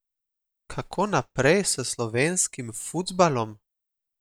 Kako naprej s slovenskim futsalom?